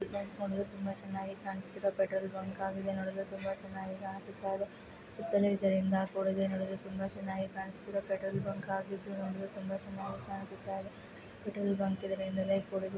Light ಗಳು ತುಂಬಾ ಚನ್ನಾಗಿ ಕಾಣುಸ್ತಾ ಇದೆ ಪೆಟ್ರೋಲ್ ಬಂಕ್ ಆಗಿದೆ ನೋಡಿದ್ರೆ ತುಂಬಾ ಚನ್ನಾಗಿ ಕಾಣುಸ್ತಾ ಇದೆ. ಸುತ್ತಲೂ ಇದರಿಂದ ಲೈಟ್ ಗಳು ನೋಡಲು ತುಂಬಾ ಚನ್ನಾಗಿ ಕಾಣುಸ್ತಾ ಇದೆ. ಪೆಟ್ರೋಲ್ ಬಂಕ್ ಆಗಿದ್ದರಿಂದ ತುಂಬಾನೇ ಚನ್ನಾಗಿ ಕಾಣುಸ್ತಾ ಇದೆ .ಪೆಟ್ರೋಲ್ ಬಂಕ್ ಇದರಿಂದಲೇ--